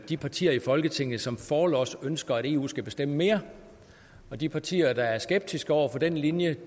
de partier i folketinget som forlods ønsker at eu skal bestemme mere og de partier der er skeptiske over for den linje